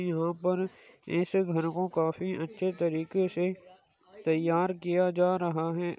यहाँ पर ऐसे घर को काफी अच्छे तरीके से तैयार किया जा रहा है।